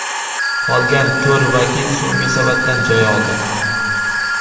Qolgan to‘rt vakil so‘nggi savatdan joy oldi.